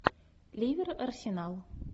ливер арсенал